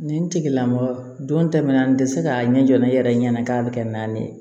Nin tigilamɔgɔ don tɛmɛna an tɛ se k'a ɲɛ jɔ ne yɛrɛ ɲɛna k'a bɛ kɛ naani ye